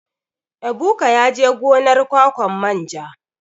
Ebuka yaje gonar ƙwaƙwan manja.